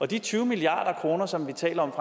de tyve milliard kr som vi taler om